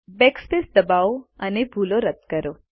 backspace દબાવો અને ભૂલ રદ કરો